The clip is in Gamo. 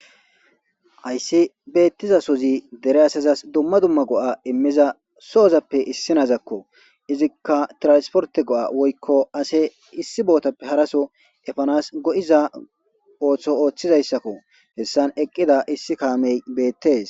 Ayssi beettiza sozi dere asazas dumma dumma go7a immiza so7ozappe issinazakko izikka transporte go7a woykko ase issi bootappe haraso efanas go7iza ooththo ooththizayssakko hessan eqqida issi kaamey beettees